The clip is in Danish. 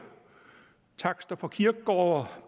takster på kirkegårde